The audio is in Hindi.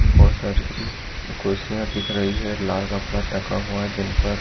बहुत सारे कुर्सियां दिख रही है लाल कपड़ा रखा हुआ है जिन पर।